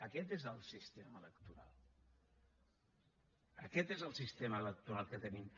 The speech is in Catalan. aquest és el sistema electoral aquest és el sistema electoral que tenim